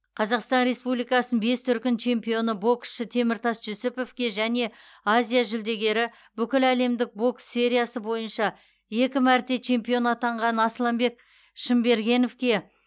қазақстан республикасының бес дүркін чемпионы боксшы теміртас жүсіповке және азия жүлдегері бүкіләлемдік бокс сериясы бойынша екі мәрте чемпион атанған асланбек шынбергеновке